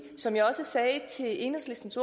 som jeg også sagde til enhedslistens